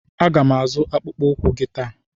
A ga m azụ akpụkpọ ụkwụ gị taa.